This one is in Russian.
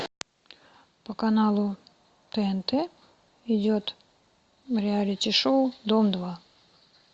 по каналу тнт идет реалити шоу дом два